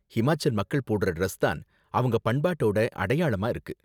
ஹிமாச்சல் மக்கள் போடுற டிரஸ் தான் அவங்க பண்பாட்டோட அடையாளமா இருக்கு.